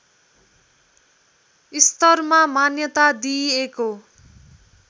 स्तरमा मान्यता दिइएको